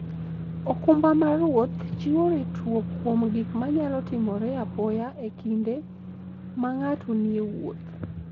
okumba mar wuoth chiwo ritruok kuom gik manyalo timore apoya e kinde ma ng'ato nie wuoth.